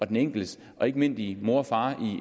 den enkeltes og ikke mindst i